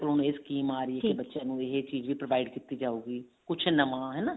ਹੁਣ ਇਹ ਸਕੀਮ ਆ ਰਹੀ ਹੈ ਬੱਚਿਆਂ ਨੂੰ ਇਹ ਚੀਜ਼ ਵੀ provide ਕੀਤੀ ਜਾਉਗੀ ਕੁਛ ਨਵਾਂ